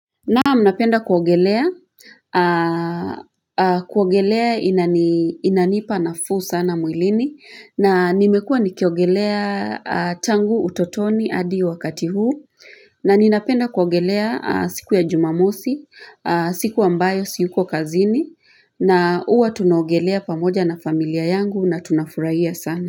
Naam, napenda kuogelea, kuogelea inanipa nafuu sana mwilini, na nimekuwa nikiogelea tangu utotoni hadi wakati huu na ninapenda kuogelea siku ya jumamosi, siku ambayo siko kazini na huwa tunaogelea pamoja na familia yangu na tunafurahia sana.